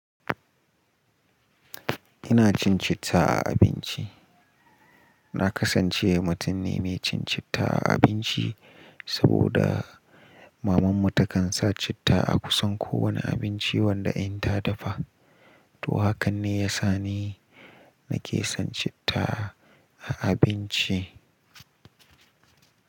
Ina cin citta a abinci. Na kasance mutum ne, mai cin citta a abinci, saboda mamanmu takan sa citta a kusan kowane abinci, wanda in ta dafa. To haka ne ya sa ni, nake son citta a abinci.